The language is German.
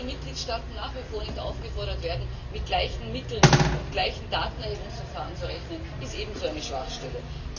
Dass die Mitgliedstaaten nach wie vor nicht aufgefordert werden, mit gleichen Mitteln und gleichen Datenerhebungsverfahren zu rechnen, ist ebenso eine Schwachstelle.